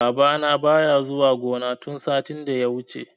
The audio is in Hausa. Babana baya zuwa gona tun satin da ya wuce.